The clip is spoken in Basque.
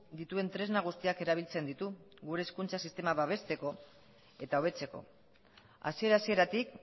dituen tresna guztiak erabiltzen ditu gure hezkuntza sistema babesteko eta hobetzeko hasiera hasieratik